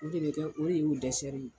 O kɛlen kɛ o de y'o dɛsɛsɛ ye